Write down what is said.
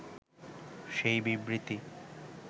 সেই বিবৃতি